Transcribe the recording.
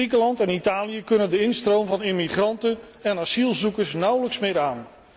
Griekenland en Italië kunnen de instroom van immigranten en asielzoekers nauwelijks meer aan.